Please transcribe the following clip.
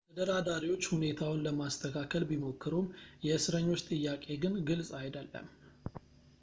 ተደራዳሪዎች ሁኔታውን ለማስተካከል ቢሞክሩም የእስረኞች ጥያቄ ግን ግልፅ አይደለም